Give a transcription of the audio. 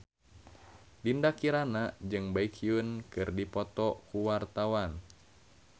Dinda Kirana jeung Baekhyun keur dipoto ku wartawan